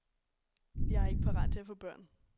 Jeg er ikke parat til at få børn.